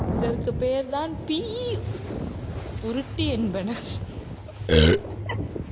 இதற்கு பெயர்தான் உருட்டு என்பன